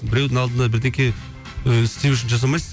біреудің алдында бірдеңе ііі істеу үшін жасамайсың